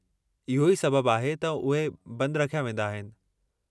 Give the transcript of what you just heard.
इहो ई सबबु आहे त उहे बंदि रखिया वेंदा आहिनि।